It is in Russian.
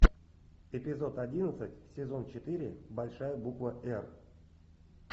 эпизод одиннадцать сезон четыре большая буква р